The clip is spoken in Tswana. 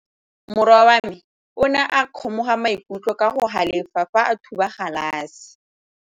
Morwa wa me o ne a kgomoga maikutlo ka go galefa fa a thuba galase.